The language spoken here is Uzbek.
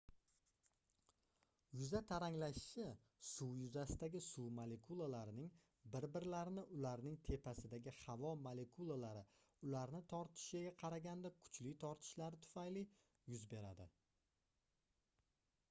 yuza taranglashishi suv yuzasidagi suv molekulalarining bir-birlarini ularning tepasidagi havo molekulalari ularni tortishiga qaraganda kuchli tortishlari tufayli yuz beradi